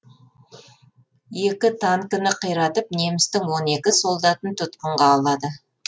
екі танкіні қиратып немістің он екі солдатын тұтқынға алады